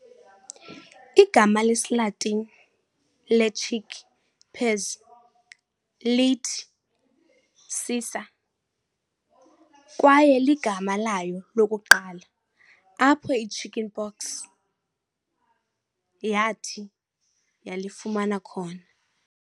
igama lesiLatini lechick peas lithi"cicer", kwaye ligama layo lokuqala apho ichicken pox yathi yalifumana khona.